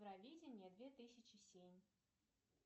евровидение две тысячи семь